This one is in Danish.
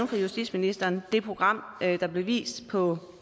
for justitsministeren at det program der blev vist på